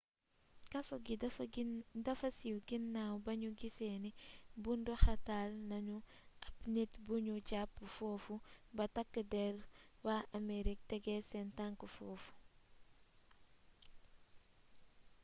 kaso gi dafa siiw ginaaw ba nu gisee ni bunduxatal nanu ab nit bu nu jàpp foofu ba takk der waa amerig tegee seen tank foofu